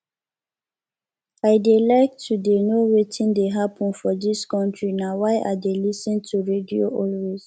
i dey like to dey know wetin dey happen for dis country na why i dey lis ten to radio always